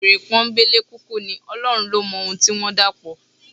Wèrè pọ́nńbélé kúkú ní, Ọlọ́run ló mọ ohun tí wọ́n dàpọ̀.